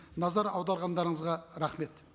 назар аударғандарыңызға рахмет